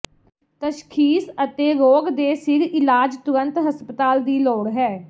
ਤਸ਼ਖ਼ੀਸ ਅਤੇ ਰੋਗ ਦੇ ਸਿਰ ਇਲਾਜ ਤੁਰੰਤ ਹਸਪਤਾਲ ਦੀ ਲੋੜ ਹੈ